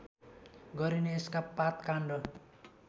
गरिने यसका पातकाण्ड